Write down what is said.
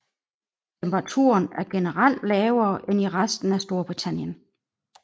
Temperaturen er generelt lavere end i resten af Storbritannien